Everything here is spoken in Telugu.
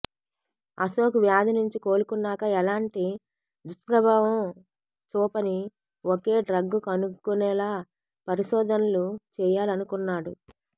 అశోక్ వ్యాధి నుంచి కోలుకున్నాక ఎలాంటి దుష్ప్రభావం చూపని ఒకే డ్రగ్ కనుగొనేలా పరిశోధనలు చేయాలనుకున్నాడు